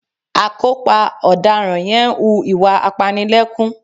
Akópa ọ̀daràn yẹn ń hu ìwà apanilẹ́kún